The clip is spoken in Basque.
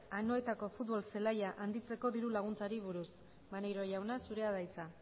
anoetako futbol zelaia handitzeko diru laguntzari buruz maneiro jauna zurea da hitza